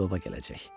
Tilova gələcək.